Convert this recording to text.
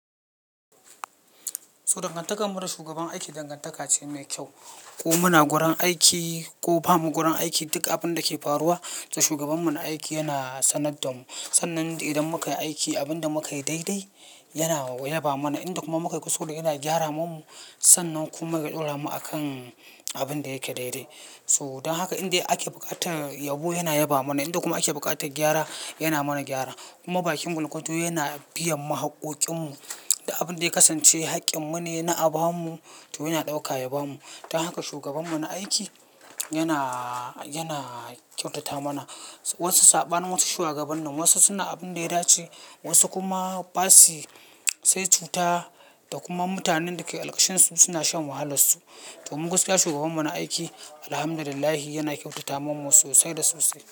So dangantakar mu da shugaban aiki dangantaka ce mai kyau. Ko muna gurin aiki ko bamu gurin aiki, duk abinda ke faruwa, to shugabanmu na aiki yana sanar da mu. Sannan idan muka yi aiki, abin da muka yi daidai yana yaba mana. Inda kuma muka yi kuskure yana gyara mu, Sannan kuma ya ɗaura mu a kan abinda yake daidai. To don haka inda ake buƙatar yabo yana yaba mana. Inda kuma ake buƙatar gyara, yana mana gyara. Kuma bakin gwargwado yana biyan mu haƙƙoƙin mu. Duk abinda ya kasance haƙƙinmu ne na a bamu, to yana ɗauka ya bamu. Don haka shugabanmu na aiki yana, yana kyautata mana. Wasu saɓanin wasu shugabannin, wasu suna abinda ya dace, wasu kuma basa yi, sai cuta da kuma mutanen da ke qarkashinsu suna shan wahalar su. To mu gaskiya shugabanmu na aiki, Alhamdulillah yana kyautata mana sosai da sosai.